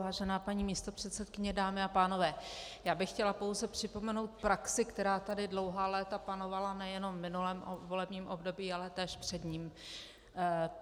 Vážená paní místopředsedkyně, dámy a pánové, já bych chtěla pouze připomenout praxi, která tady dlouhá léta panovala nejenom v minulém volebním období, ale též před ním.